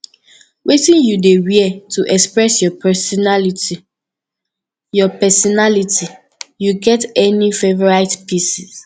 wetin you dey wear to express your pesinality your pesinality you get any favorite pieces